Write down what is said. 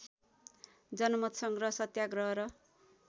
जनमतसङ्ग्रह सत्याग्रह र